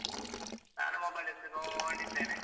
ನಾನು mobile ಎತ್ತಿ ನೋಡ್ತಿದ್ದೇನೆ.